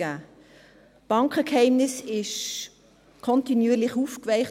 Das Bankgeheimnis wurde kontinuierlich aufgeweicht.